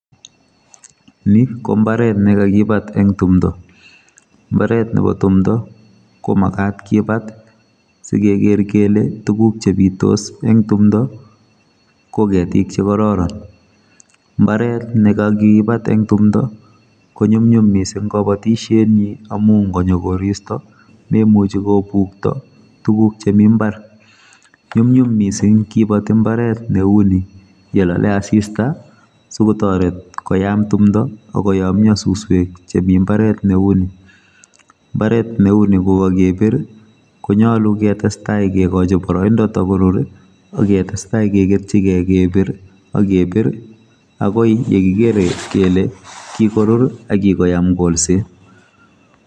Ni kombaret nekakibat eng timdo. Mbaret nebo timdo komagat kibat sikeker kele tuguk chebitos eng timdo koketik chekororon mbaret nekakibat eng timdo konyumnyum mising kabatisietnyi amu ngonyo koristo memuchi kobukto tugun chemi mbar nyumnyum mising kibati mbaret neu ni yelole asista sikotoret koyam timdo akoyomyo suswek chemi mbaret neu ni. Mbaret neu ni kokakebir konyalu ketestai kekochi boroindo tokorur aketestai keketyigei kebir akebir akoi yekikere kele kikorur akikoyam kolset.